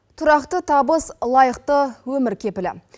тұрақты табыс лайықты өмір кепілі